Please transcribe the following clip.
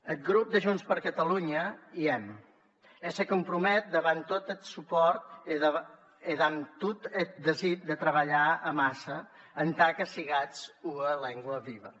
eth grop de junts per catalunya i èm e se compromet damb tot eth supòrt e damb tot eth desir de trabalhar amassa entà que sigatz ua lengua viua